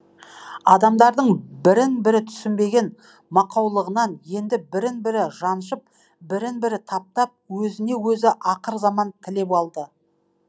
адамдардың бірін бірі түсінбеген мақаулығынан енді бірін бірі жаншып бірін бірі таптап өзіне өзі ақырзаман тілеп алды